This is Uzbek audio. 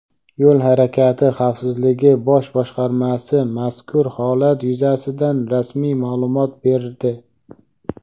Yo‘l harakati xavfsizligi bosh boshqarmasi mazkur holat yuzasidan rasmiy ma’lumot berdi.